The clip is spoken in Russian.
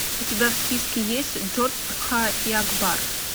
у тебя в списке есть джодха и акбар